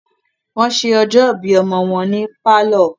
wọ́n se ọjọ́ ìbí ọmọ wọn ní pálọ̀.